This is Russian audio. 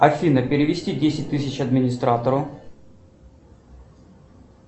афина перевести десять тысяч администратору